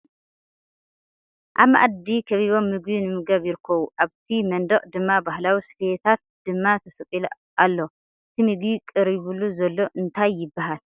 ኣብ ማኣዲ ከቢቦም ምግቢ ንምምጋብ ይርከቡ ። ኣብቲ መንደቅ ድማ ባህላዊ ስፈታት ድማ ተሰቂሉ ኣሎ ። እቲ ምግቢ ቀሪቡሉ ዘሎ እንታይ ይባሃል?